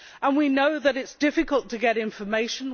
We know that it is difficult to get information